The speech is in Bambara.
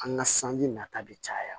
An ka sanji nata bɛ caya